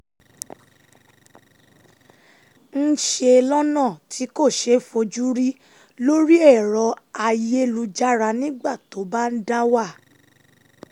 ń ṣe lọ́nà tí kò ṣeé fojú rí lórí èrọ ayélujára nígbà tó bá ń dá wà